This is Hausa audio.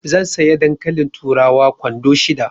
Zan saya dankalin turawa kwando shida.